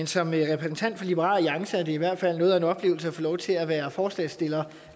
som repræsentant for liberal alliance er det i hvert fald noget af en oplevelse at få lov til at være forslagsstiller